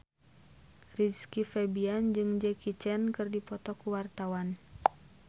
Rizky Febian jeung Jackie Chan keur dipoto ku wartawan